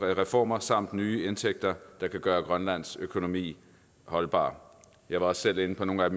reformer samt nye indtægter der kan gøre grønlands økonomi holdbar jeg var også selv inde på nogle af